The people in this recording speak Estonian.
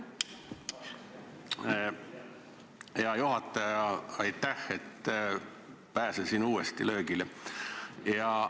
Hea juhataja, aitäh, et pääsesin uuesti löögile!